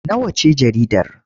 Nawa ce jaridar?